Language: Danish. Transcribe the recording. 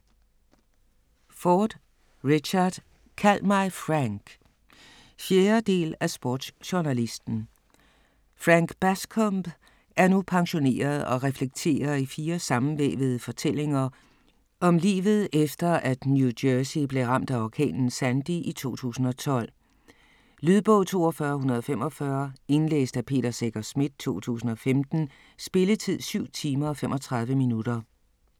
Ford, Richard: Kald mig Frank 4. del af Sportsjournalisten. Frank Bascombe er nu pensioneret og reflekterer i fire sammenvævede fortællinger om livet efter New Jersey blev ramt af orkanen Sandy i 2012. Lydbog 42145 Indlæst af Peter Secher Schmidt, 2015. Spilletid: 7 timer, 35 minutter.